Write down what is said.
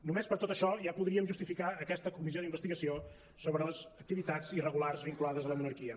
només per tot això ja podríem justificar aquesta comissió d’investigació sobre les activitats irregulars vinculades a la monarquia